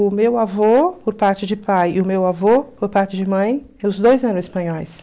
O meu avô, por parte de pai, e o meu avô, por parte de mãe, os dois eram espanhóis.